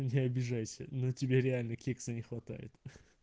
не обижайся но тебе реально кекса не хватает